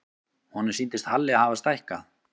Honum sýndist Halli hafa stækkað.